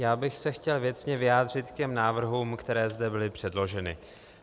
Já bych se chtěl věcně vyjádřit k těm návrhům, které zde byly předloženy.